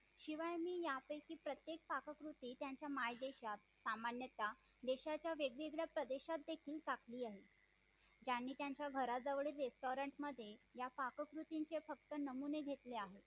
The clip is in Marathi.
अच्छा